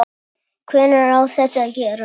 Hvenær á þetta að gerast?